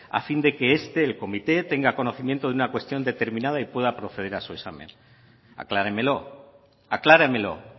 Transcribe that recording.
a fin de que este el comité tenga conocimiento de una cuestión determinada y pueda proceder a su examen acláremelo acláremelo